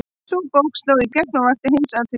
Sú bók sló í gegn og vakti heimsathygli.